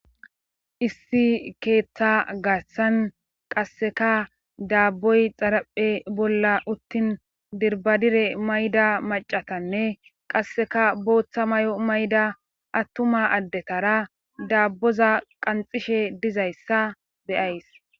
Issi keetha garssan qasseka daabboy xaraphe bolla uttin dirbbadire mayida maccatanne qasseka bootha mayo mayida attuma addetaraa daabboza qanxxishe dizyayssa be7ays.